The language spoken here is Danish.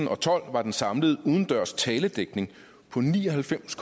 og tolv var den samlede udendørs taledækning på ni og halvfems